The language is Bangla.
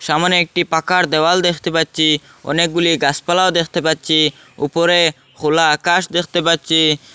সামনে একটি পাকার দেওয়াল দেখতে পাচ্চি অনেকগুলি গাসপালাও দেখতে পাচ্চি ওপরে খোলা আকাশ দেখতে পাচ্চি।